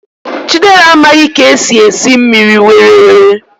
Chidera amaghi esi esi mmiri, were were!